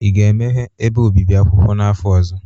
Ị ga-emeghe ebe obibi akwụkwọ n'afọ ọzọ?